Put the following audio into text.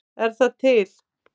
Er það til?